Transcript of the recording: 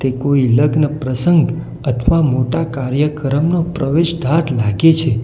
કોઈ લગ્ન પ્રસંગ અથવા મોટા કાર્યક્રમનો પ્રવેશદ્વાર લાગે છે.